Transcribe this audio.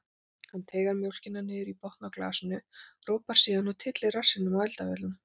Hann teygar mjólkina niður í botn á glasinu, ropar síðan og tyllir rassinum á eldavélina.